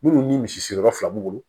Minnu ni misi yɔrɔ fila b'u bolo